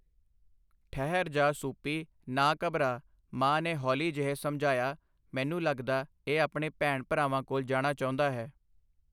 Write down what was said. ਠਹਿਰ ਜਾ ਸੂਪੀ ਨਾ ਘਬਰਾ ਮਾਂ ਨੇ ਹੌਲੀ ਜਿਹੇ ਸਮਝਾਇਆ ਮੈਨੂੰ ਲੱਗਦਾ ਇਹ ਆਪਣੇ ਭੈਣ ਭਰਾਵਾਂ ਕੋਲ਼ ਜਾਣਾ ਚਾਹੁੰਦਾ ਹੈ।